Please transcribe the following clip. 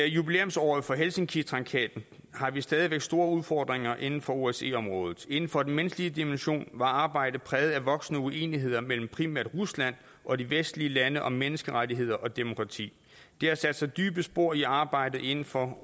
jubilæumsåret for helsinkitraktaten har vi stadig væk store udfordringer inden for osce området inden for den menneskelige dimension var arbejdet præget af voksende uenigheder mellem primært rusland og de vestlige lande om menneskerettigheder og demokrati det har sat sig dybe spor i arbejdet inden for